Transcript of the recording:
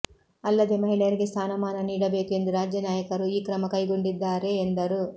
ಅಲ್ಲದೆ ಮಹಿಳೆಯರಿಗೆ ಸ್ಥಾನಮಾನ ನೀಡಬೇಕು ಎಂದು ರಾಜ್ಯ ನಾಯಕರು ಈ ಕ್ರಮಕೈಗೊಂಡಿದ್ದಾರೆಎಂದರು